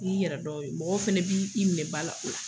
N'i yɛrɛ dɔn mɔgɔw fana b'i minɛ ba la o la.